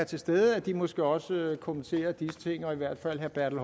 til stede måske også kommenterer disse ting i hvert fald herre bertel